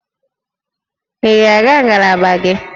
Ị ga-aga ngalaba gị?